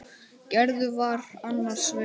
Gerður var annars vegar.